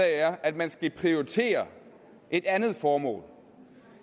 er at man skal prioritere et andet formål